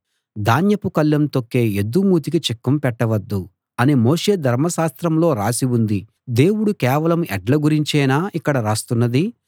ధాన్యపు కళ్ళం తొక్కే ఎద్దు మూతికి చిక్కం పెట్టవద్దు అని మోషే ధర్మశాస్త్రంలో రాసి ఉంది దేవుడు కేవలం ఎడ్ల గురించేనా ఇక్కడ రాస్తున్నది